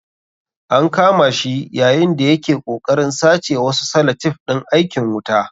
An kama shi yayin da ya ke ƙoƙarin sace wasu salatif ɗin aikin wuta.